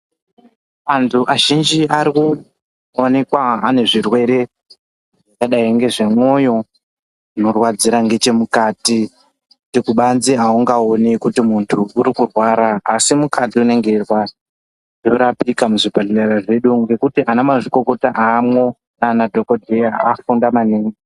Antu azhinji arikuonekwa ane zvirwere zvakadai ngezvemwoyo zvinorwadzira ngechemukati zvekuti kubanze aungaoni kuti unorwara asi mukati unenge weirwara. Zvorapika muzvibhedhleya mwedu umwu ngekuti ana mazvikokota arimwo akafunda maningi.